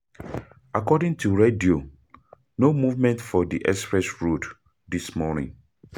According to radio, no movement for di express road this morning.